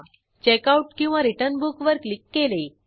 checkoutरिटर्न book वर click केले